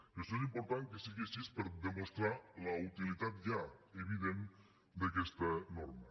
i això és important que sigui així per demostrar la utilitat ja evident d’aquesta norma